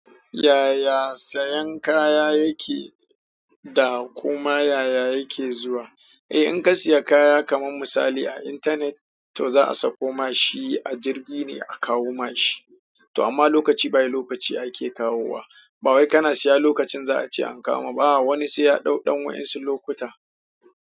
Yaya sayan kaya yake da kuma yaya yake zuwa? Eh, in ka siya kaya kaman misali a internet, to za'a sauko ma shi a jirgi ne a kawo ma shi. To amma lokaci bayan lokaci a ke kawo wa. Ba wai kana siya lokacin za a ce an kawo ma ba. Wani sai ya ɗau ɗan wa'insu lokuta.